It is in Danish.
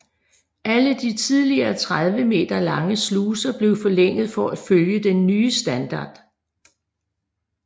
Alle de tidligere 30 meter lange sluser blev forlænget for at følge den nye standard